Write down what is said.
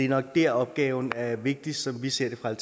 nok der opgaven er vigtigst som vi ser det fra